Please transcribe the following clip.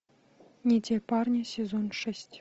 не те парни сезон шесть